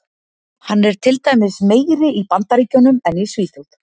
Hann er til dæmis meiri í Bandaríkjunum en í Svíþjóð.